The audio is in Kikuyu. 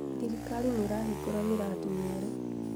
Thirikari nĩirahingũra mĩrandi mĩerũ